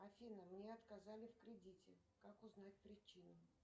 афина мне отказали в кредите как узнать причину